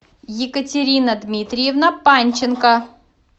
екатерина дмитриевна панченко